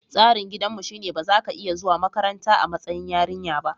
Tsarin gidanmu shine ba za ki iya zuwa makaranta a matsayin yarinya ba.